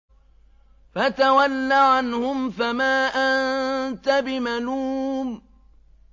فَتَوَلَّ عَنْهُمْ فَمَا أَنتَ بِمَلُومٍ